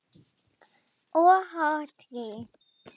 Og hatrið.